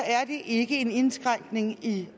er det ikke en indskrænkning i